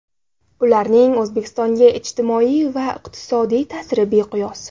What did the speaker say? Ularning O‘zbekistonga ijtimoiy va iqtisodiy ta’siri beqiyos.